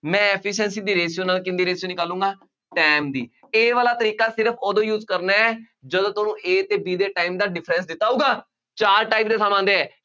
ਮੈਂ efficiency ਦੀ ratio ਨਾਲ ਕਿਹਦੀ ratio ਨਿਕਾਲੂਗਾਂ, time ਦੀ, ਇਹ ਵਾਲਾ ਤਰੀਕਾ ਸਿਰਫ ਉਦੋਂ use ਕਰਨਾ ਹੈ, ਜਦੋਂ ਤੁਹਾਨੂੰ A ਅਤੇ B ਦੇ time ਦਾ difference ਦਿੱਤਾ ਹੋਊਗਾ, ਚਾਰ type ਦੇ sum ਆਉਂਦੇ ਹੈ।